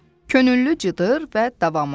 Könüllü cıdır və davamı.